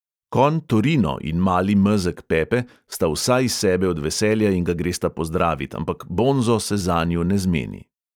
Konj torino in mali mezeg pepe sta vsa iz sebe od veselja in ga gresta pozdravit, ampak bonzo se zanju ne zmeni.